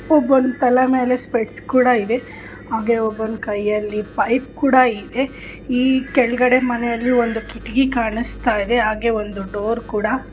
ಒಬೊನ್ ತಲೆ ಮೇಲೆ ಸ್ಪೆಕ್ಟ್ಸ್ ಕೂಡ ಇದೆ ಆಗೇ ಒಬಾನ್ ಕೈಯಲಿ ಪೈಪ್ ಕೂಡ ಇದೆ ಈ ಕೆಲ್ಗಡೆ ಮನೇಲೆ ಕಿಟ್ಗೆ ಕಣಸ್ಥ ಇದೆ ಆಗೇ ಒಂದು ಡೋರ್ ಕೂಡ--